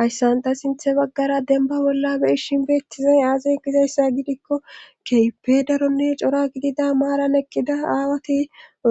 hayssanta sinthe baggara demba bolla bei shin beettizay aazen gizayssa gidikko keype daronne cora gidida maaran eqqida aawati